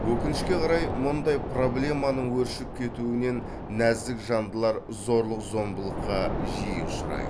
өкінішке қарай мұндай проблеманың өршіп кетуінен нәзік жандылар зорлық зомбылыққа жиі ұшырайды